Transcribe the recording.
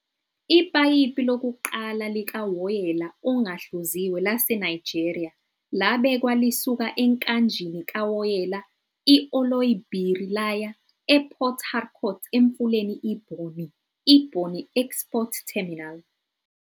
Ipayipi lokuqala likawoyela ongahluziwe laseNigeria labekwa lisuka enkanjini kawoyela i-Oloibiri laya ePort Harcourt emfuleni iBonny, iBonny Export Terminal.